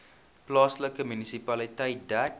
plaaslike munisipaliteit dek